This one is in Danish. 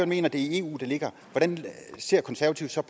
mener det er i eu det ligger hvordan ser konservative så